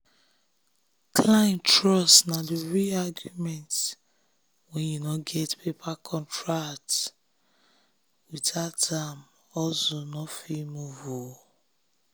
client trust na the real agreement when you no get paper contract. without am hustle no fit move.